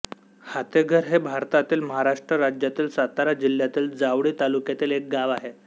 हातेघर हे भारतातील महाराष्ट्र राज्यातील सातारा जिल्ह्यातील जावळी तालुक्यातील एक गाव आहे